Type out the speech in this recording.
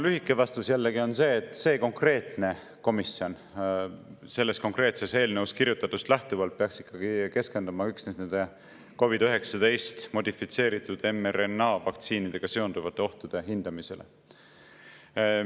Lühike vastus jällegi on see, et see konkreetne komisjon konkreetses eelnõus kirjutatust lähtuvalt peaks ikkagi keskenduma üksnes COVID-19 modifitseeritud mRNA vaktsiinidega seonduvate ohtude hindamisele.